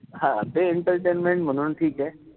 हा ते entertaintment म्हणून ठीकेय.